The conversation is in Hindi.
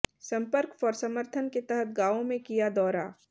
सम्पर्क फॉर समर्थन के तहत गांवों में किया दौरा